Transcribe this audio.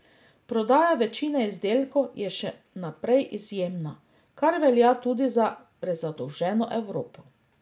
Prodaja večine izdelkov je še naprej izjemna, kar velja tudi za prezadolženo Evropo.